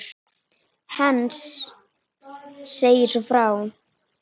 Heinz segir svo frá: